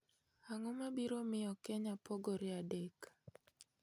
ang'o ma biro miyo kenya pogore adek